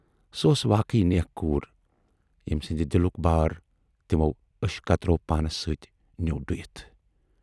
سۅ اوس واقٕے نیک کور ییمۍ سٕندِ دِلُک بار تَِمو ٲشۍ قطرو پانِس سۭتۍ نیوٗ ڈٕہِتھ۔